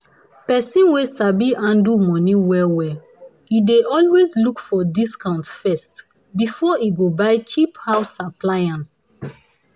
person wey sabi handle money well-well e dey always look for discount first before e go buy cheap house appliance.